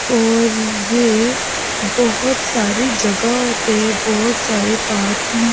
और ये बहुत सारी जगहों पे बहुत सारे पार्क में--